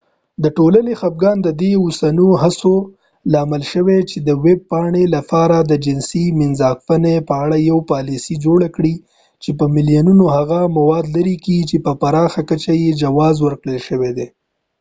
د ټولنې خفګان د د دې اوسنيو هڅو لامل شو چې د ويب پاڼې لپاره د جنسي مینځپانګې په اړه يوه پالیسي جوړه کړي چې په ملیونونو هغه مواد لري چې په پراخه کچه يې جواز ورکړل شوی دی